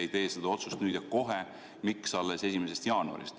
Miks te ei kehtesta seda nüüd ja kohe, miks alles 1. jaanuarist?